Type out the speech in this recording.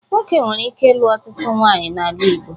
Nwoke nwere ike ịlụ ọtụtụ nwaanyị n'ala Igbo.